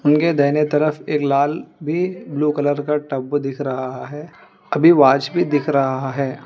उनके दाहिने तरफ एक लाल भी ब्लू कलर का टब दिख रहा है अभी वॉच भी दिख रहा है।